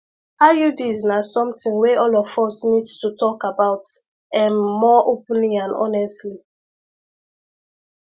iuds na something wey all of us needs to talk about ehm more openly and honestly